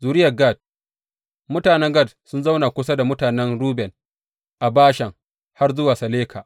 Zuriyar Gad Mutanen Gad sun zauna kusa da mutanen Ruben a Bashan, har zuwa Saleka.